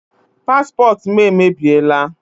Paspọtụ m emebiela.